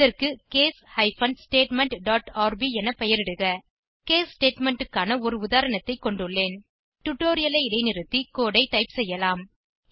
அதற்கு case hyphen statement dot RB என பெயரிடுக கேஸ் ஸ்டேட்மெண்ட் க்கான ஒரு உதாரணத்தை கொண்டுள்ளேன் டுடோரியலை இடைநிறுத்தி கோடு ஐ டைப் செய்யலாம்